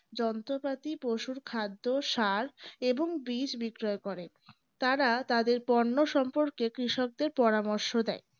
যন্ত্রপাতি পশুর খাদ্য সার এবং বীজ বিক্রয় করেন তারা তাদের পণ্য সম্পর্কে কৃষকদের পরামর্শ দেয়